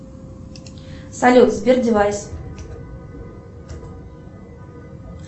салют сбер девайс